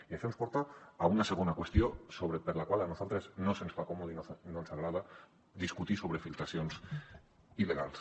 i això ens porta a una segona qüestió per la qual a nosaltres no se’ns fa còmodes i no ens agrada discutir sobre filtracions il·legals